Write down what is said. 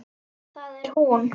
Það er hún.